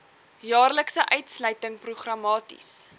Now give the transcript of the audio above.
jaarlikse uitsluiting programmaties